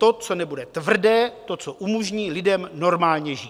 To, co nebude tvrdé, to, co umožní lidem normálně žít.